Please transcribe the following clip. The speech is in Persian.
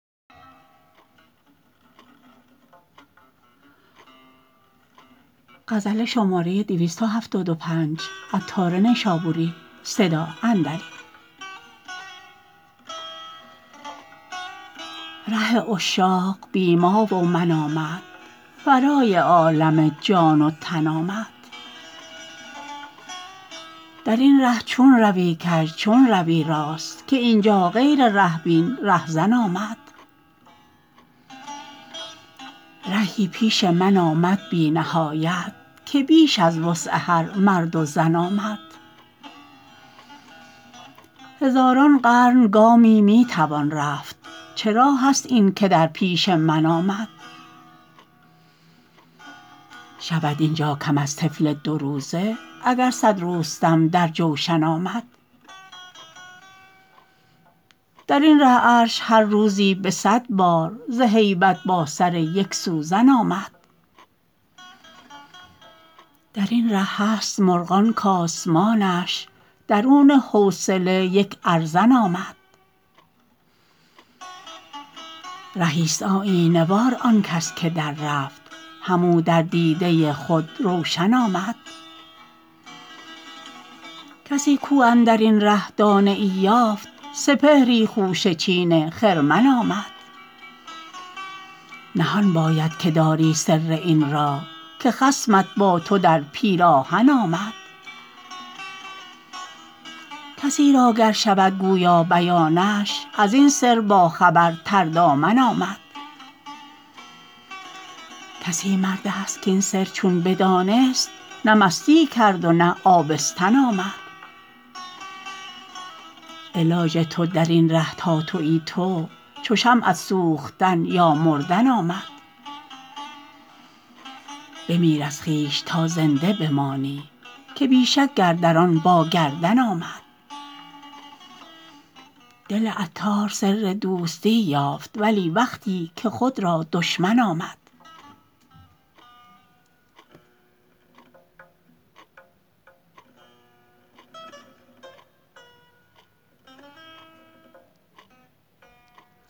ره عشاق بی ما و من آمد ورای عالم جان و تن آمد درین ره چون روی کژ چون روی راست که اینجا غیر ره بین رهزن آمد رهی پیش من آمد بی نهایت که بیش از وسع هر مرد و زن آمد هزاران قرن گامی می توان رفت چه راه است این که در پیش من آمد شود اینجا کم از طفل دو روزه اگر صد رستم در جوشن آمد درین ره عرش هر روزی به صد بار ز هیبت با سر یک سوزن آمد درین ره هست مرغان کاسمانشان درون حوصله یک ارزن آمد رهی آیینه وار آن کس که در رفت هم او در دیده خود روشن آمد کسی کو اندرین ره دانه ای یافت سپهری خوشه چین خرمن آمد نهان باید که داری سر این راه که خصمت با تو در پیراهن آمد کسی را گر شود گویی بیانش ازین سر باخبر تر دامن آمد کسی مرد است کین سر چون بدانست نه مستی کرد ونه آبستن آمد علاج تو درین ره تا تویی تو چو شمعت سوختن یا مردن آمد بمیر از خویش تا زنده بمانی که بی شک گرد ران با گردن آمد دل عطار سر دوستی یافت ولی وقتی که خود را دشمن آمد